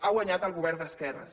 ha guanyat el govern d’esquerres